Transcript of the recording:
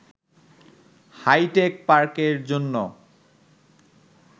hi tech পার্কের জন্য